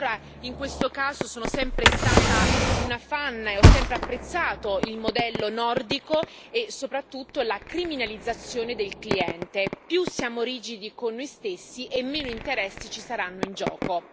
E allora, in questo caso, sono sempre stata una fan e ho sempre apprezzato il modello nordico e, soprattutto, la criminalizzazione del cliente più siamo rigidi e con noi stessi e meno interessi ci saranno in gioco.